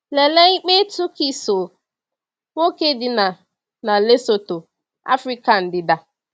Lelee ikpe Tukiso, nwoke dị na na Lesotho, Afrịka ndịda.